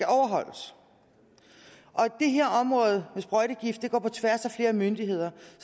overholdes det her område med sprøjtegifte går på tværs af flere myndigheder